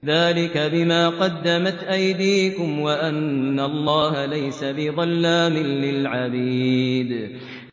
ذَٰلِكَ بِمَا قَدَّمَتْ أَيْدِيكُمْ وَأَنَّ اللَّهَ لَيْسَ بِظَلَّامٍ لِّلْعَبِيدِ